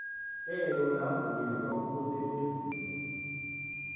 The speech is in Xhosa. elo lingavunyelwa ukusebenzisa